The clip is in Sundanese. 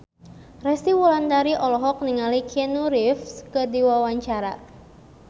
Resty Wulandari olohok ningali Keanu Reeves keur diwawancara